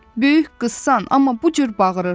Böyük qızsan, amma bu cür bağırırsan.